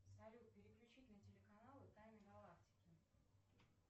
салют переключить на телеканалы тайны галактики